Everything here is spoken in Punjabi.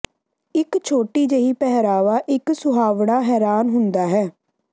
ਇੱਕ ਛੋਟੀ ਜਿਹੀ ਪਹਿਰਾਵਾ ਇੱਕ ਸੁਹਾਵਣਾ ਹੈਰਾਨ ਹੁੰਦਾ ਹੈ